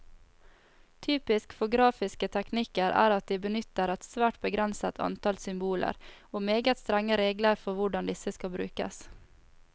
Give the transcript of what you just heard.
Typisk for grafiske teknikker er at de benytter et svært begrenset antall symboler, og meget strenge regler for hvordan disse skal brukes.